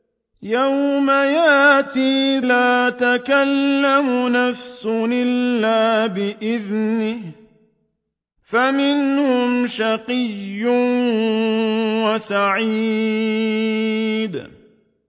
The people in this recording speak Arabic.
يَوْمَ يَأْتِ لَا تَكَلَّمُ نَفْسٌ إِلَّا بِإِذْنِهِ ۚ فَمِنْهُمْ شَقِيٌّ وَسَعِيدٌ